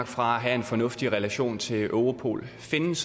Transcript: fra at have en fornuftig relation til europol findes